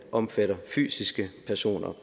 omfatter fysiske personer